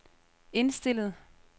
indstillet